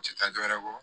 U tɛ taa dɔ wɛrɛ kɔ